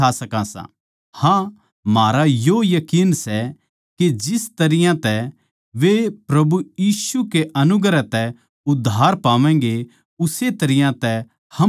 हाँ म्हारा यो यकीन सै के जिस तरियां तै वे प्रभु यीशु कै अनुग्रह तै उद्धार पावैंगें उस्से तरियां तै हम भी पावागें